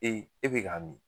e bi ka min